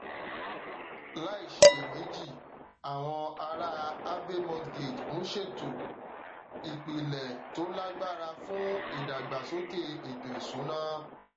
láìṣiyèméjì àwọn aráa abbey mortgage ń ṣètò ìpìlẹ to lágbára fún ìdàgbàsókè ètò ìṣúná